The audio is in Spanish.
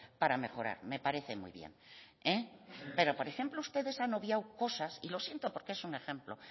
para mejorar me parece muy bien pero por ejemplo ustedes han obviado cosas y lo siento porque es un ejemplo